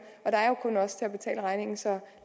og regningen så